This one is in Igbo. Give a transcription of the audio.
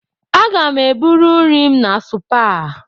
Aga m eburu nri m na Supa.